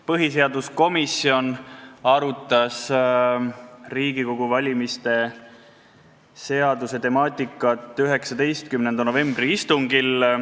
Põhiseaduskomisjon arutas Riigikogu valimise seaduse temaatikat 19. novembri istungil.